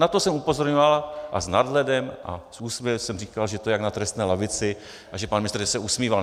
Na to jsem upozorňoval a s nadhledem a s úsměvem jsem říkal, že to je jak na trestné lavici a že pan ministr se usmíval.